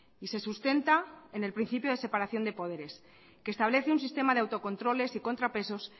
y se sustenta en el principio de separación de poderes que establece un sistema de autocontroles y contrapesos